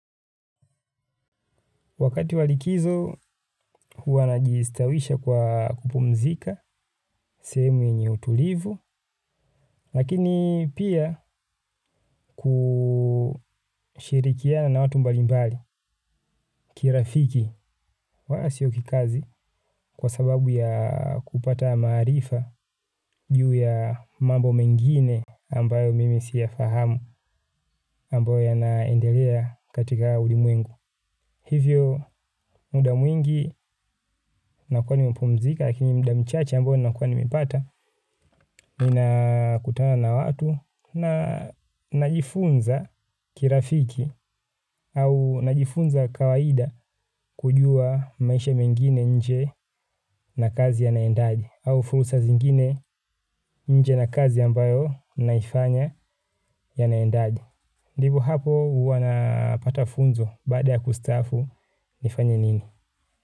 Wakati wa likizo, huwa najiistawisha kwa kupumzika, sehemu yenye utulivu, lakini pia kushirikiana na watu mbalimbali, kirafiki. Wala sio kikazi kwa sababu ya kupata maarifa juu ya mambo mengine ambayo mimi siyafahamu ambayo yanaendelea katika ulimwengu. Hivyo muda mwingi nakuwa nimepumzika, lakini muda mchache ambao nakuwa nimeipata, ninakutana na watu na najifunza kirafiki au najifunza kawaida kujua maisha mengine nje na kazi yanaendaje au furusa zingine nje na kazi ambayo naifanya yanaendaje ndivyo hapo huwa napata funzo baada ya kustafu nifanye nini?